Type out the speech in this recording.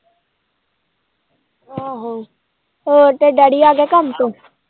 ਆਹੋ ਹੋਰ ਤੇਰਾ daddy ਆ ਗਿਆ ਕੰਮ ਤੋਂ?